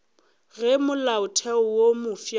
ge molaotheo wo mofsa o